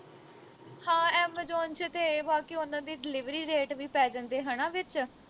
ਹਾਂ amazon ਵਿਚ ਤੇ ਇਹ ਵਾ ਕਿ ਉਨ੍ਹਾਂ ਦੇ delivery rate ਵੀ ਪੈ ਜਾਂਦੇ ਹਣਾ ਵਿਚ